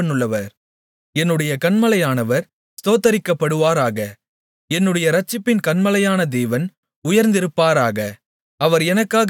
யெகோவா ஜீவனுள்ளவர் என்னுடைய கன்மலையானவர் ஸ்தோத்தரிக்கப்படுவாராக என்னுடைய இரட்சிப்பின் கன்மலையான தேவன் உயர்ந்திருப்பாராக